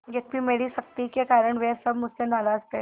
यद्यपि मेरी सख्ती के कारण वे सब मुझसे नाराज थे